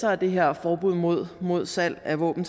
er det her forbud mod mod salg af våben